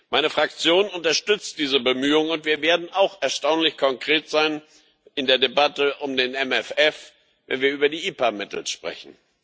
Meine Fraktion unterstützt diese Bemühungen, und wir werden auch erstaunlich konkret sein in der Debatte um den MFR, wenn wir über die IPA Mittel sprechen.